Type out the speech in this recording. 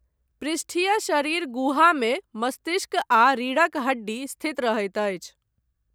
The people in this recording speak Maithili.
पृष्ठीय शरीर गुहामे मस्तिष्क आ रीढ़क हड्डी स्थित रहैत अछि।